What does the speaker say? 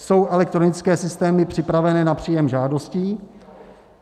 Jsou elektronické systémy připravené na příjem žádostí?